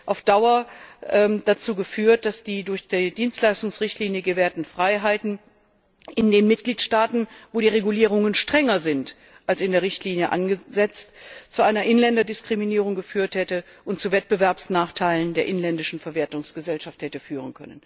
Auf Dauer hätten die durch die Dienstleistungsrichtlinie gewährten Freiheiten in den Mitgliedstaaten, wo die Regulierungen strenger sind als in der Richtlinie angesetzt, zu einer Inländerdiskriminierung und unter Umständen zu Wettbewerbsnachteilen der inländischen Verwertungsgesellschaften geführt.